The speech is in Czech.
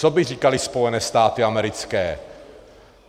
Co by říkaly Spojené státy americké?